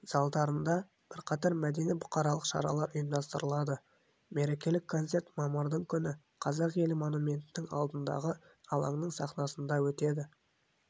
залдарында бірқатар мәдени-бұқаралық шаралар ұйымдастырылады мерекелік концерт мамырдың күні қазақелі монументінің алдындағы алаңның сахнасында өтеді